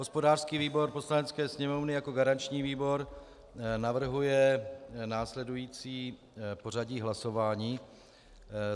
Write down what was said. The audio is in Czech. Hospodářský výbor Poslanecké sněmovny jako garanční výbor navrhuje následující pořadí hlasování.